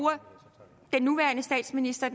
er nuværende statsminister